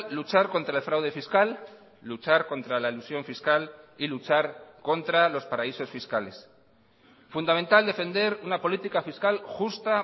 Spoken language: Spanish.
luchar contra el fraude fiscal luchar contra la elusión fiscal y luchar contra los paraísos fiscales fundamental defender una política fiscal justa